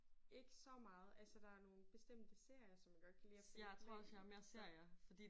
Ikke så meget. Altså der er nogle bestemte serier som jeg godt kan lide at følge med i for